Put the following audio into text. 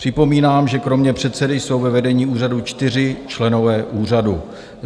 Připomínám, že kromě předsedy jsou ve vedení úřadu čtyři členové úřadu.